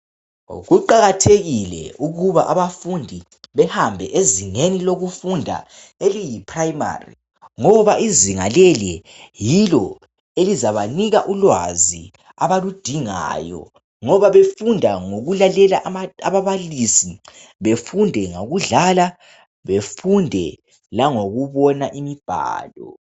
kuqhakathekile ukuba abafundi behambe ezingeni lokufunda oluyi primary ngoba izinga leli yilo oluzabanika ulwazi abaludingayo ngoba befunda ngokulalela ababalisi befunde ngokudlala befunde langokubona imibhalo